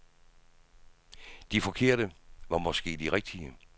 De forkerte var måske de rigtige.